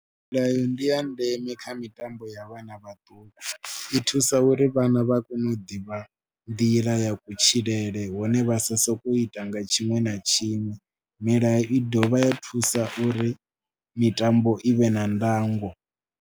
Milayo ndi ya ndeme kha mitambo ya vhana vhaṱuku, i thusa uri vhana vha kone u ḓivha nḓila ya kutshilele hone vha sa sokou ita nga tshiṅwe na tshiṅwe. Milayo i dovha ya thusa uri mitambo i vhe na ndango.